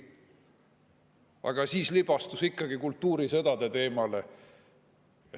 Aga siis libastus ikkagi kultuurisõdade teemale.